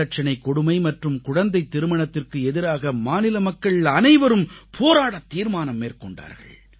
வரதட்சணைக் கொடுமை மற்றும் குழந்தைத் திருமணத்திற்கு எதிராக மாநில மக்கள் அனைவரும் போராடத் தீர்மானம் மேற்கொண்டார்கள்